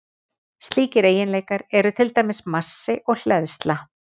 Slíkir eiginleikar eru til dæmis massi og hleðsla.